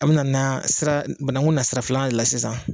An bɛ na na sira banakun na sira filanan de la sisan.